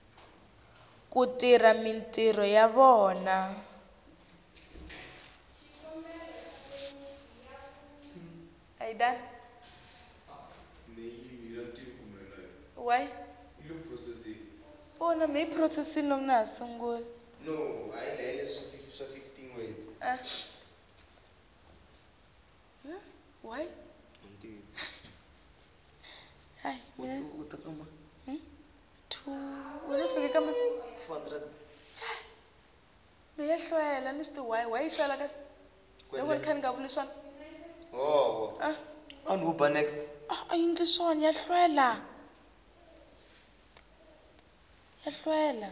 ku tirha mintirho ya vona